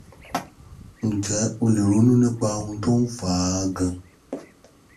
Ǹjẹ́ o lè ronú nípa ohun tó fà á gan-an?